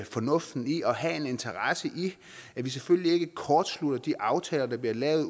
fornuften i og have en interesse i at vi selvfølgelig ikke kortslutter de aftaler der bliver lavet